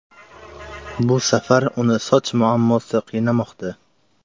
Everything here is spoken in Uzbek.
Bu safar uni soch muammosi qiynamoqda.